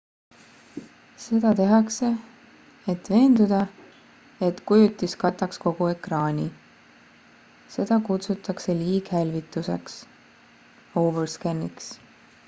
seda tehakse et veenduda et kujutis kataks kogu ekraani. seda kutsutakse liighälvituseks overscan'iks